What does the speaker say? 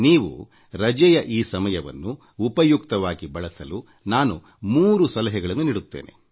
ನೀವು ರಜೆಯ ಈ ಸಮಯವನ್ನು ಸದುಪಯೋಗ ಮಾಡಿಕೊಳ್ಳಲು ನಾನು ಮೂರು ಸಲಹೆಗಳನ್ನು ನೀಡಲಿಚ್ಛಿಸುತ್ತೇನೆ